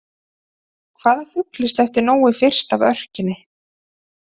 Hvaða fugli sleppti Nói fyrst af örkinni?